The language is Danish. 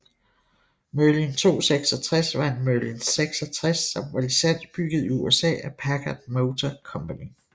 Merlin 266 var en Merlin 66 som var licensbygget i USA af Packard Motor Company